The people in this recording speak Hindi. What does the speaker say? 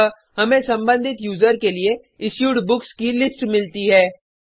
अतः हमें सम्बंधित यूज़र के लिए इशूड बुक्स की लिस्ट मिलती है